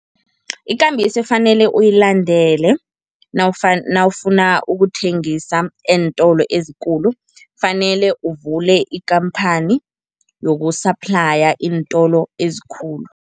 Ikambiso efanele uyilandele nawufuna ukuthengisa eentolo ezikulu, fanele uvule ikhamphani yoku-supply iintolo ezikhulu.